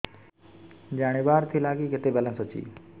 ଜାଣିବାର ଥିଲା କି କେତେ ବାଲାନ୍ସ ଅଛି